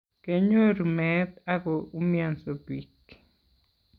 kenyoru meet ago umianso biik